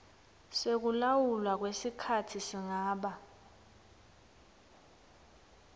sekulawulwa kwesikhatsi singaba